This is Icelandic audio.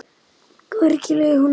Hvergi leið honum betur.